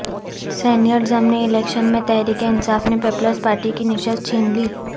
senate ضمنی election میں تحریک انصاف نے پیپلز پارٹی کی نشست چھین لی